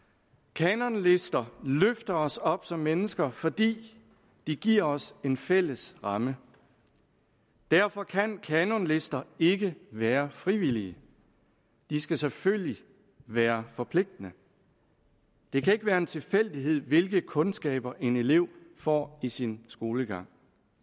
kanonlister løfter os op som mennesker fordi de giver os en fælles ramme derfor kan kanonlister ikke være frivillige de skal selvfølgelig være forpligtende det kan ikke være en tilfældighed hvilke kundskaber en elev får i sin skolegang